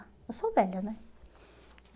Eu sou velha, né?